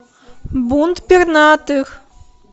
бунт пернатых